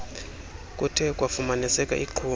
kuthe kwafumaniseka iqhuma